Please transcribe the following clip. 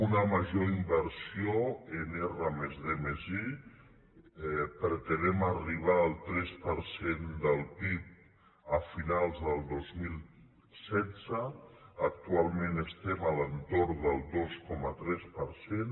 una major inversió en r+d+i pretenem arribar al tres per cent del pib a finals del dos mil setze actualment estem a l’entorn del dos coma tres per cent